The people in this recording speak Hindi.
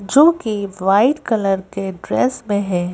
जोकि व्हाइट कलर के ड्रेस में है।